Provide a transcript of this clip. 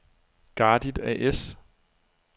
Gardit A/S